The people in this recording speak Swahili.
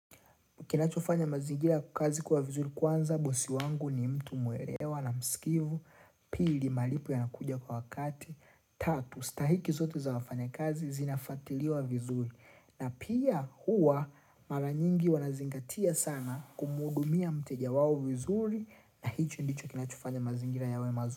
Kinachofanya mazingira ya kazi kuwa vizuri kwanza, bosi wangu ni mtu muelewa na msikivu, pili malipo yanakuja kwa wakati, tatu, stahiki zote za wafanyakazi zinafatiliwa vizuri. Na pia huwa maranyingi wanazingatia sana kumuhudumia mteja wao vizuri na hicho ndicho kinachofanya mazingira yawe mazuri.